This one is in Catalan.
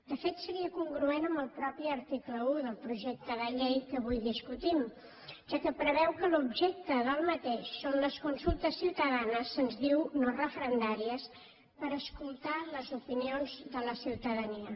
de fet seria congruent amb el mateix article un del projecte de llei que avui discutim ja que preveu que l’objecte d’aquest són les consultes ciutadanes se’ns diu no referendàries per escoltar les opinions de la ciutadania